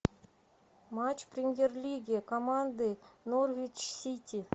матч премьер лиги команды норвич сити